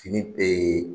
Fini